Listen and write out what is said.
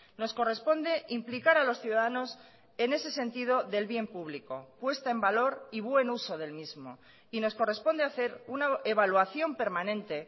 nos corresponde implicar a los ciudadanos en ese sentido del bien público puesta en valor y buen uso del mismo y nos corresponde hacer una evaluación permanente